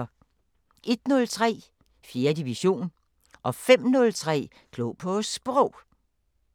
01:03: 4. division 05:03: Klog på Sprog